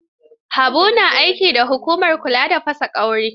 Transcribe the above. Habu ya na aiki da hukumar kula da fasa ƙwauri.